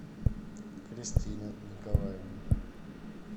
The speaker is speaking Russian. кристина николаевна